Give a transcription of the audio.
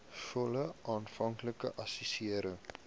volle aanvanklike assessering